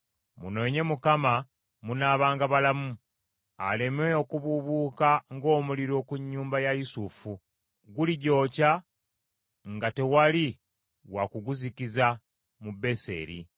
Munoonye Mukama munaabanga balamu aleme okubuubuuka ng’omuliro ku nnyumba ya Yusufu; guligyokya nga tewali wa kuguzikiza mu Beseri.